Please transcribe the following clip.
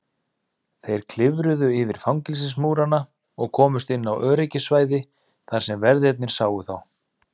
Þeir klifruðu yfir fangelsismúrana og komust inn á öryggissvæði þar sem verðirnir sáu þá.